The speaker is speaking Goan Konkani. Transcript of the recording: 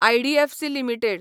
IDFC limited